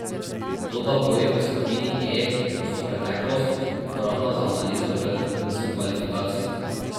Toda boji v skupini E so preteklost, uporabna za analizo pred vrhuncem kvalifikacij.